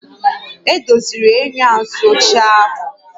Edoziri enyo azụ ochie ahụ